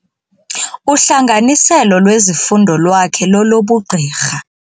Uhlanganiselo lwezifundo lwakhe lolobugqirha.